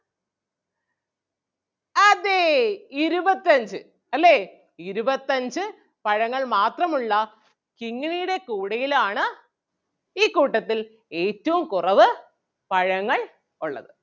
അതേ ഇരുപത്തഞ്ച് അല്ലേ ഇരുപത്തഞ്ച് പഴങ്ങൾ മാത്രം ഉള്ള കിങ്ങിണിടെ കൂടയിലാണ് ഈ കൂട്ടത്തിൽ ഏറ്റവും കുറവ് പഴങ്ങൾ ഒള്ളത്.